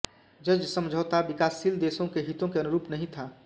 ज्ज् समझौता विकासशील देशों के हितों के अनुरूप नहीं था